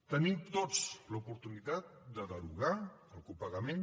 tenim tots l’oportunitat de derogar el copagament